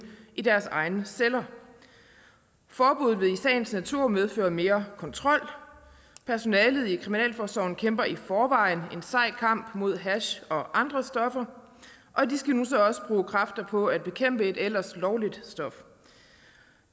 i deres egne celler forbuddet vil i sagens natur medføre mere kontrol personalet i kriminalforsorgen kæmper i forvejen en sej kamp mod hash og andre stoffer og de skal nu så også bruge kræfter på at bekæmpe et ellers lovligt stof